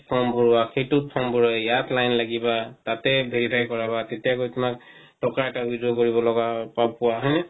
এটোত form ভৰোৱা সেইটোত form ভৰোৱা ইয়াত line লাগিবা তাতে verify কৰাৱা তেতিয়া গৈ তোমাৰ টকা এটা withdrawal কৰিৱ লগা বা পুৱা হয় নে